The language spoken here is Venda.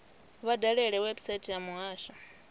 vha dalele website ya muhasho